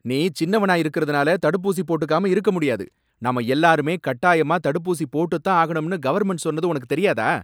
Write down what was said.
நீ சின்னவனா இருக்கறதுனால தடுப்பூசி போட்டுக்காம இருக்க முடியாது. நாம எல்லாருமே கட்டாயமா தடுப்பூசி போட்டுத் தான் ஆகணும்னு கவர்மெண்ட் சொன்னது உனக்குத் தெரியாதா?